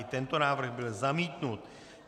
I tento návrh byl zamítnut.